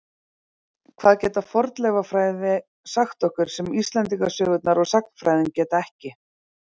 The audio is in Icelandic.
Hvað getur fornleifafræði sagt okkur sem Íslendingasögurnar og sagnfræðin geta ekki?